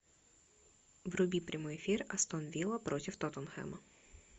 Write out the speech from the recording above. вруби прямой эфир астон вилла против тоттенхэма